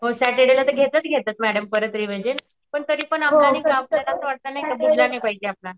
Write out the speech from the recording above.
हो सॅटर्डे ला घेताच घेता मॅडम परत रिविजन पण तरीपण आपलं नाहीका आपल्याला असं वाटत नाहीका डुबला नाही पाहिजे आपला